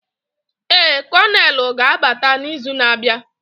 Ee, konelu ga-abata n'izu na-abịa.